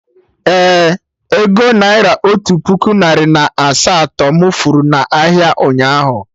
Ee, ego naira otu puku narị na asaa to mụ furu na ahịa, ụnyaahụ